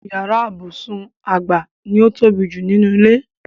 Yàrá ibùsùn àgbà ni ó ń tóbi jù nínú ilé.